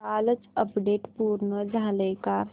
कालचं अपडेट पूर्ण झालंय का